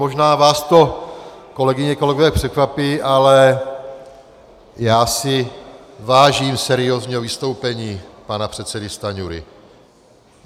Možná vás to, kolegyně a kolegové, překvapí, ale já si vážím seriózního vystoupení pana předsedy Stanjury.